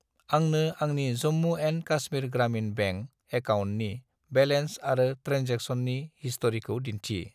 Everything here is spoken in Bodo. आंनो आंनि जम्मु एन्ड कास्मिर ग्रामिन बेंक एकाउन्टनि बेलेन्स आरो ट्रेनजेक्सननि हिस्ट'रिखौ दिन्थि।